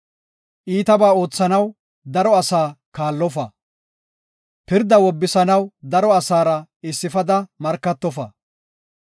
Iitaba oothanaw daro asaa kaallofa. Pirda wobisanaw daro asaara issifada markatofa.